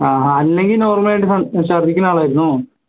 ആഹ് അഹ് അല്ലെങ്കിൽ normal ആയിട്ട് ഛർദിക്ക്നാളാണോ